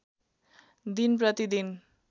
दिन प्रति दिन